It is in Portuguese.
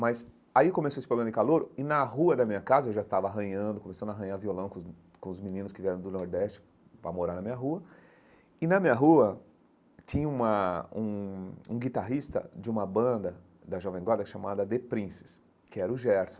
Mas aí começou esse programa de calouro e na rua da minha casa, eu já estava arranhando, começando a arranhar violão com os com os meninos que vieram do Nordeste para morar na minha rua, e na minha rua tinha uma um um guitarrista de uma banda da Jovem Guarda chamada The Princess, que era o Gerson.